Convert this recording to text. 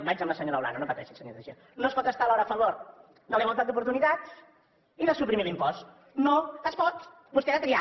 vaig amb la senyora olano no pateixi senyor teixidó no es pot estar alhora a favor de la igualtat d’oportunitats i de suprimir l’impost no es pot vostè ha de triar